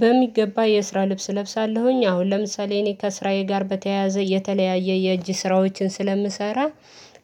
በሚገባ የስራ ልብስ እለብሳለሁኝ አሁን ለምሳሌ እኔ ከስራዬ ጋር በተያያዘ እየተለያየ የእጅ ስራዎችን ስለምሰራ።